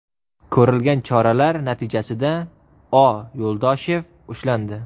Ko‘rilgan choralar natijasida O. Yuldashev ushlandi.